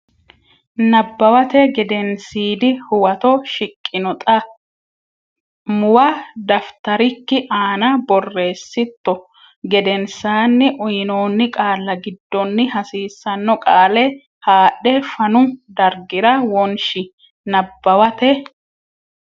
Nabbawate Gedensiidi Huwato shiqqino xa muwa daftarikki aana borreessitto gedensaanni uynoonni qaalla giddonni hasiisanno qaale haadhe fanu dargira wonshi Nabbawate.